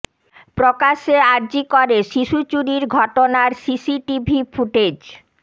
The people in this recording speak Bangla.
প্রকাশ্যে আর জি করে শিশু চুরির ঘটনার সিসিটিভি ফুটেজ